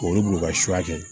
K'olu bila u ka sukaro kɛ